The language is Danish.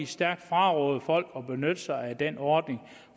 stærkt fraråde folk at benytte sig af den ordning